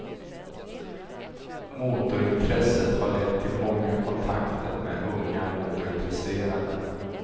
Motorintresset har lett till många kontakter med unga motorintresserade.